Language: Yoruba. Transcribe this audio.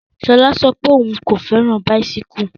Sola sọ pé òun kò fẹ́ràn bicyles.